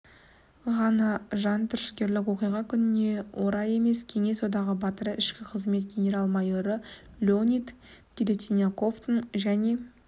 ғана жантүршігерлік оқиға күніне орай емес кеңес одағы батыры ішкі қызмет генерал-майоры леонид телятниковтың және